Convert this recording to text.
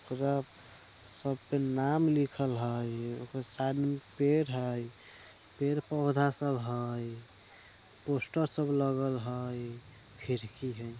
सब पे नाम लिखल हई साइड में पेड़ है पेड़-पौधा सब हई पोस्टर सब लागल हई खिड़की हई।